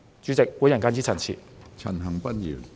主席，我謹此陳辭。